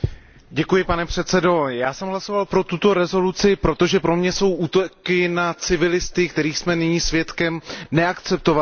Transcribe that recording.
Pane předsedající, já jsem hlasoval pro tuto rezoluci, protože pro mě jsou útoky na civilisty, kterých jsme nyní svědky, neakceptovatelné.